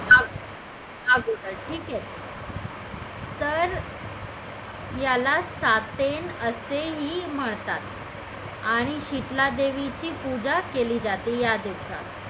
अगोदर ठीक आहे तर याला असेही म्हणतात आणि शीतला देवीची पूजा केली जाते या दिवसात